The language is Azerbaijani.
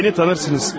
Məni tanırsınız?